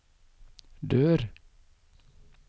dør